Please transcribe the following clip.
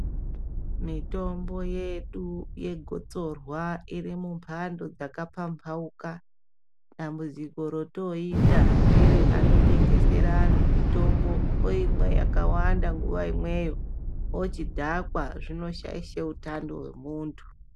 Mitombo yedu yegotsorwa iri mumbando dzakapambauka. Dambudziko rotoita ngereanotengesere antu mutombo, oimwe yakawanda nguva imweyo, ochidhakwa. Zvinoshaishe utano hwemuntu.